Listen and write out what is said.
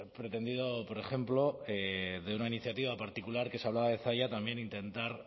pretendido por ejemplo de una iniciativa particular que se hablaba de zalla también intentar